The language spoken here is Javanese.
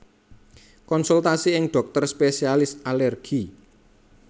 Konsultasi ing dhokter spesialis alergi